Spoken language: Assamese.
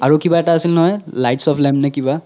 আৰু কিবা এতা আছিল নহয় lights of lamp নে কিবা